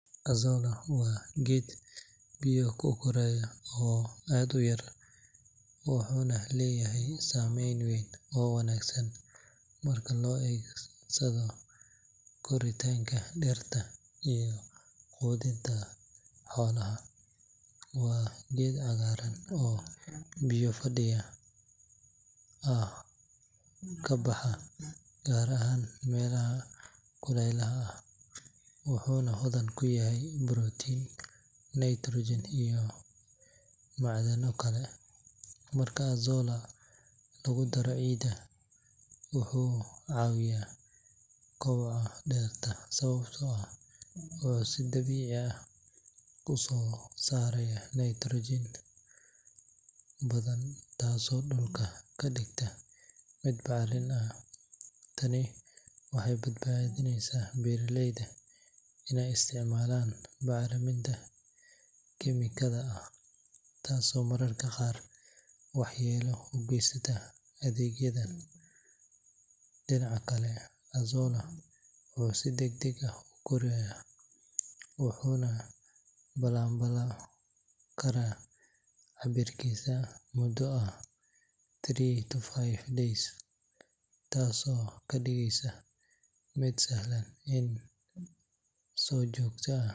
Azolla waa geed biyo ku koraya oo aad u yar, wuxuuna leeyahay saameyn weyn oo wanaagsan marka loo adeegsado koritaanka dhirta iyo quudinta xoolaha. Waa geed cagaaran oo biyo fadhiya ah ka baxa, gaar ahaan meelaha kulaylaha ah, wuxuuna hodan ku yahay borotiin, nitrogen iyo macdano kale. Marka Azolla lagu daro ciidda, wuxuu caawiyaa kobaca dhirta sababtoo ah wuxuu si dabiici ah u soo saaraa nitrogen badan, taasoo dhulka ka dhigta mid bacrin ah. Tani waxay badbaadineysaa beeraleyda inay isticmaalaan bacriminta kiimikada ah, taasoo mararka qaar waxyeelo u geysata deegaanka. Dhinaca kale, Azolla wuxuu si degdeg ah u korayaa, wuxuuna labanlaabmi karaa cabbirkiisa muddo ah three to five days, taasoo ka dhigeysa mid sahlan in si joogto ah.